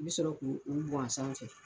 I bi sɔrɔ k'u u gansan cɛ